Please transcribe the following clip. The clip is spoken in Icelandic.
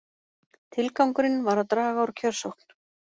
Tilgangurinn var að draga úr kjörsókn